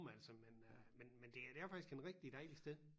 Altså men øh men men det er faktisk en rigtig dejlig sted